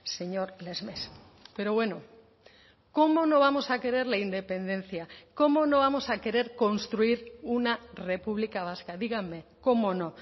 señor lesmes pero bueno cómo no vamos a querer la independencia cómo no vamos a querer construir una república vasca díganme cómo no